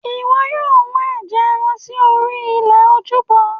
ìwọ yóò wọ́n ẹ̀jẹ̀ ẹran sí orí ilẹ̀ ojúbọ